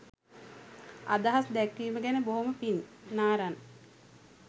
අදහස් දැක්වීම ගැන බොහොම පිං නාරන්